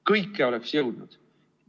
Kõike oleks jõudnud.